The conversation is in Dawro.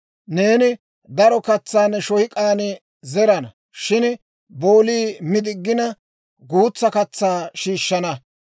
«Neeni daro katsaa ne shoyk'aan zerana; shin boolii mi diggina, guutsaa katsaa shiishshana.